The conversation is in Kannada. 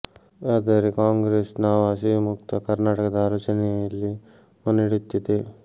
ಆದರೆ ಕಾಂಗ್ರೆಸ್ ನಾವು ಹಸಿವು ಮುಕ್ತ ಕರ್ನಾಟಕದ ಆಲೋಚ ನೆಯಲ್ಲಿ ಮುನ್ನಡೆಯುತ್ತಿದೆ